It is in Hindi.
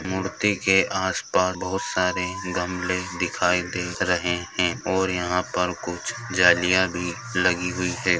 मूर्ति के आस-पास बहोत सारे गमले दिखाई दे रहे हैं और यहाँ पर कुछ जालियाँ भी लगी हुई हैं।